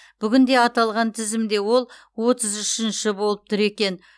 бүгінде аталған тізімде ол отыз үшінші болып тұр екен